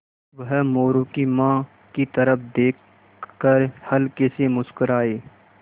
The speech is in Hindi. वह मोरू की माँ की तरफ़ देख कर हल्के से मुस्कराये